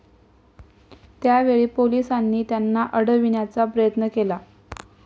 त्या वेळी पोलिसांनी त्यांना अडविण्याचा प्रयत्न केला.